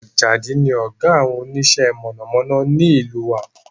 Àjàdí ni ọ̀gá àwọn onísẹ́ mọ̀nàmọ́ná ní ìlú wa